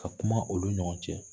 Ka kuma olu ni ɲɔgɔn cɛ